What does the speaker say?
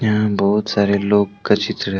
यहां बहुत सारे लोग का चित्र है।